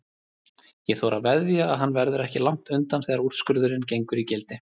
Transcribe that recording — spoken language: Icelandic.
Ég þori að veðja að hann verður ekki langt undan þegar úrskurðurinn gengur í gildi.